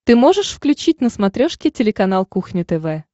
ты можешь включить на смотрешке телеканал кухня тв